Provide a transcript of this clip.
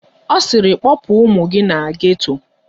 Ọ sịrị kpọpụ ụmụ gị na geto!